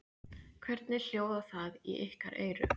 Hvernig hljóðar það í ykkar eyru?